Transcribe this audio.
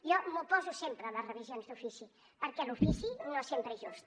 jo m’oposo sempre a les revisions d’ofici perquè l’ofici no sempre és just